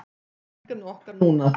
Það er verkefni okkar núna